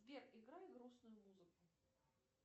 сбер играй грустную музыку